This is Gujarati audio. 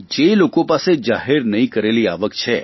જે લોકો પાસે જાહેર નહીં કરેલી આવક છે